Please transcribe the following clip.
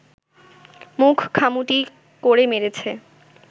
মুখ খামুটি করে মেরেছে